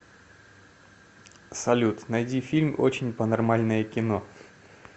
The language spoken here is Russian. салют найди фильм очень панормальное кино